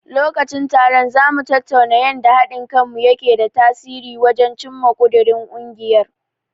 Lokacin taron, za mu tattauna yanda haɗin kanmu yake da tasiri wajen cimma ƙudirin ungiyar.